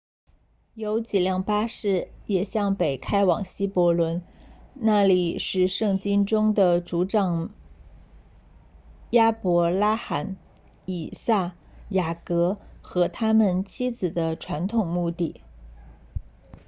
有几辆巴士也向北开往希伯伦那里是圣经中的族长亚伯拉罕以撒雅各和他们妻子的传统墓地